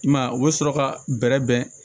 I man ye u bɛ sɔrɔ ka bɛrɛ bɛn